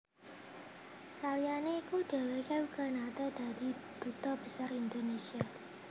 Saliyané iku dhèwèké uga naté dadi Duta Besar Indonesia